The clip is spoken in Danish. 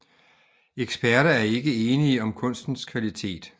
Eksperter er ikke enige om kunstens kvalitet